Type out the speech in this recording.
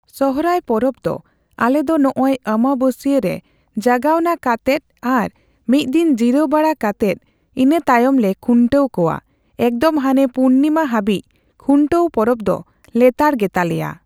ᱥᱚᱦᱨᱟᱭ ᱯᱚᱨᱚᱵᱽ ᱫᱚ ᱟᱞᱮ ᱫᱚ ᱱᱚᱜ ᱚᱭ ᱟᱢᱵᱟᱵᱟᱹᱥᱭᱟᱹᱨᱮ ᱡᱟᱜᱟᱣᱱᱟ ᱠᱟᱛᱮᱫ ᱟᱨ ᱢᱤᱫ ᱫᱤᱱ ᱡᱤᱨᱟᱹᱣ ᱵᱟᱲᱟ ᱠᱟᱛᱮᱫ ᱤᱱᱟᱹᱛᱟᱭᱚᱢ ᱞᱮ ᱠᱷᱩᱱᱴᱟᱹᱣ ᱠᱚᱣᱟ ᱾ᱮᱠᱫᱚᱢ ᱦᱟᱱᱮ ᱯᱩᱨᱱᱤᱢᱟ ᱦᱟᱹᱵᱤᱡ ᱠᱷᱩᱱᱴᱟᱹᱣ ᱯᱚᱨᱚᱵᱽ ᱫᱚ ᱞᱮᱛᱟᱲ ᱜᱮᱛᱟ ᱞᱮᱭᱟ ᱾